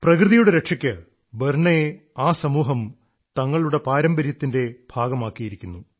പ്രകൃതിയുടെ രക്ഷയ്ക്ക് ബർനയെ ആ സമൂഹം തങ്ങളുടെ പാരമ്പര്യത്തിന്റെ ഭാഗമാക്കിയിരിക്കുന്നു